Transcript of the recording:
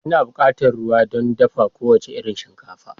Kina buƙatar ruwa don dafa kowace irin shinkafa.